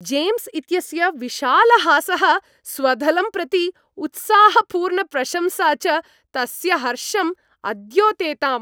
James इत्यस्य विशालहासः, स्वदलं प्रति उत्साहपूर्णप्रशंसा च तस्य हर्षम् अद्योतेताम्।